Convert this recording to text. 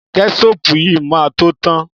Kẹ́ṣọpù yìí máa tó tán.